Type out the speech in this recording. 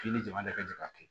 K'i ni jama de ka ca ka kɛ